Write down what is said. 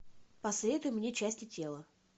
посоветуй мне части тела